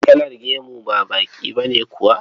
Kalar gemu ba baƙi ba ne kawai.